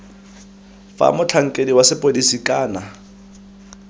fa motlhankedi wa sepodisi kana